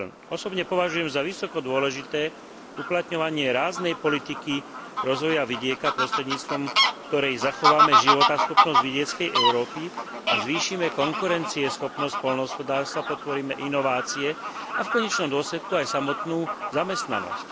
Osobne považujem za vysoko dôležité uplatňovanie ráznej politiky rozvoja vidieka, prostredníctvom ktorej zachováme životaschopnosť vidieckej Európy a zvýšime konkurencieschopnosť poľnohospodárstva, podporíme inovácie a v konečnom dôsledku aj samotnú zamestnanosť.